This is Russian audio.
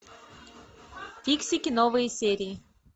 фиксики новые серии